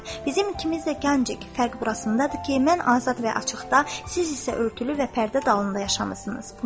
Bizim ikimiz də gəncik, fərq burasındadır ki, mən azad və açıqda, siz isə örtülü və pərdə dalında yaşamısınız.